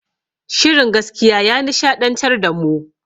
Shirin gaskiya ya nishaɗantar da mu